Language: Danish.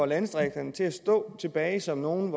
landdistrikterne til at stå tilbage som nogle